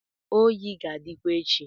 oyi ga-adịkwa echi